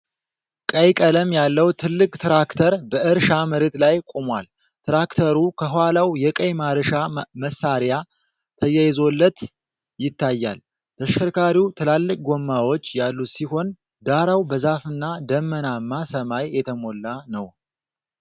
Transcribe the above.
ቀይ ቀለም ያለው ትልቅ ትራክተር በእርሻ መሬት ላይ ቆሟል። ትራክተሩ ከኋላው የቀይ ማረሻ መሳሪያ ተያይዞለት ይታያል። ተሽከርካሪው ትላልቅ ጎማዎች ያሉት ሲሆን፣ ዳራው በዛፍና ደመናማ ሰማይ የተሞላ ነው።